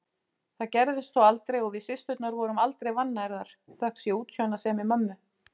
Það gerðist þó aldrei og við systurnar vorum aldrei vannærðar, þökk sé útsjónarsemi mömmu.